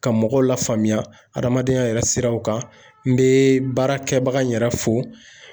Ka mɔgɔw lafaamuya adamadenya yɛrɛ siraw kan n bɛ baarakɛbaga in yɛrɛ fo